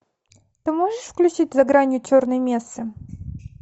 ты можешь включить за гранью черной месы